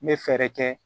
N bɛ fɛɛrɛ kɛ